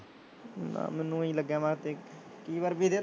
ਨਾ ਮੈਨੂੂੰ ਊਈਂ ਕਈ ਵਾਰ ਵੀਰੇ